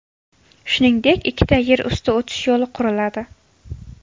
Shuningdek, ikkita yer usti o‘tish yo‘li quriladi.